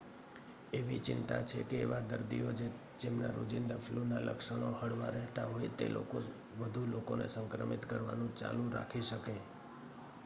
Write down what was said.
એવી ચિંતા છે કે એવા દર્દીઓ જે જેમના રોજિંદા ફલૂના લક્ષણો હળવા રહેતા હોય તે લોકો વધુ લોકોને સંક્રમિત કરવાનું ચાલુ રાખી શકે